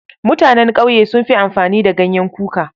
Mutanen ƙauye sun fi amfani da ganyen kuka.